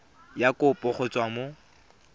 ya kopo go tswa mo